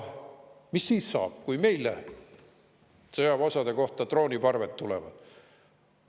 Mis siis saab, kui meie sõjaväeosade kohale drooniparved tulevad?